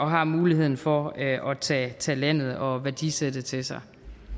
har muligheden for at tage tage landet og værdisættet til sig